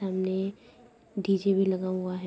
सामने डी.जे. भी लगा हुआ है।